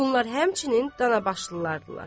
Bunlar həmçinin Danabaşlılar idilər.